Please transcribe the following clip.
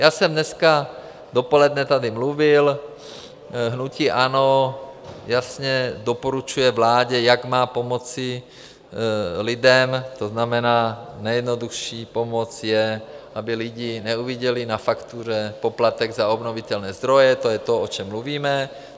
Já jsem dneska dopoledne tady mluvil, hnutí ANO jasně doporučuje vládě, jak má pomoci lidem, to znamená, nejjednodušší pomoc je, aby lidi neviděli na faktuře poplatek za obnovitelné zdroje, to je to, o čem mluvíme.